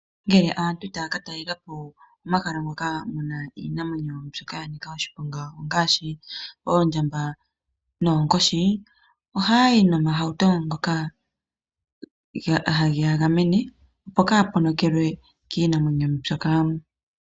Ngele aantu taya ka talelapo omahala ngoka ge na iinamwenyo ya nika oshiponga ngaashi oondjamba noonkoshi, ohaya yi nomahauto ngoka hage ya gamene, opo kaaya ponokelwe kiinamwenyo mbyoka.